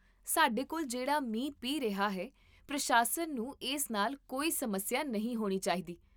ਸਾਡੇ ਕੋਲ ਜਿਹੜਾ ਮੀਂਹ ਪੈ ਰਿਹਾ ਹੈ, ਪ੍ਰਸ਼ਾਸਨ ਨੂੰ ਇਸ ਨਾਲ ਕੋਈ ਸਮੱਸਿਆ ਨਹੀਂ ਹੋਣੀ ਚਾਹੀਦੀ